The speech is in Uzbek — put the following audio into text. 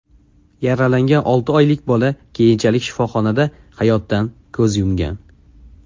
Yaralangan olti oylik bola keyinchalik shifoxonada hayotdan ko‘z yumgan.